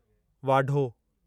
वाढो